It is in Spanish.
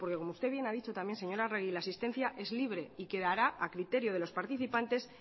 porque como usted bien ha dicho también señora arregi la asistencia es libre y quedará a criterio de los participantes